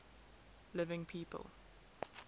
living people